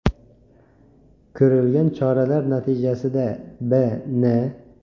Ko‘rilgan choralar natijasida B.N.